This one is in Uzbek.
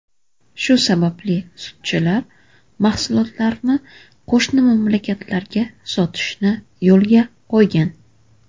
Shu sababli sutchilar mahsulotlarini qo‘shni mamlakatlarga sotishni yo‘lga qo‘ygan.